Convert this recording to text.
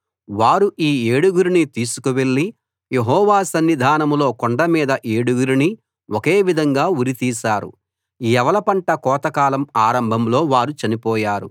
వారు ఈ ఏడుగురిని తీసుకువెళ్ళి యెహోవా సన్నిధానంలో కొండ మీద ఏడుగురినీ ఒకే విధంగా ఉరితీశారు యవల పంట కోతకాలం ఆరంభంలో వారు చనిపోయారు